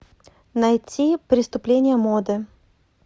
найти преступление моды